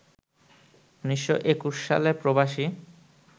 ১৯২১ সালে প্রবাসী